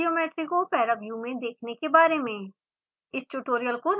उस geometry को पैराव्यू में देखने के बारे में